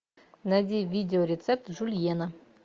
найди видео рецепт жульена